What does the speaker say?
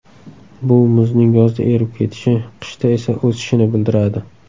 Bu muzning yozda erib ketishi, qishda esa o‘sishini bildiradi.